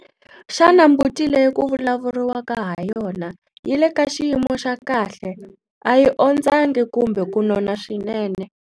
Xana mbuti leyi ku vulavuriwa ha yona yi le ka xiyimo xa kahle, a yi ondzangi kumbe ku nona swinene?